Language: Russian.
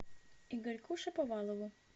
игорьку шаповалову